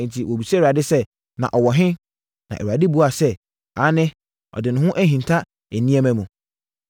Enti, wɔbisaa Awurade sɛ, “Na ɔwɔ he?” Na Awurade buaa sɛ, “Aane, ɔde ne ho ahinta nneɛma mu.”